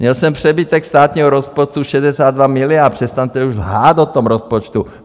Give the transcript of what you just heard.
Měl jsem přebytek státního rozpočtu 62 miliard; přestaňte už lhát o tom rozpočtu.